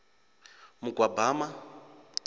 mugwabama